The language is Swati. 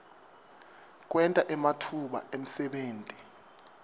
kwenta ematfuba emsebenti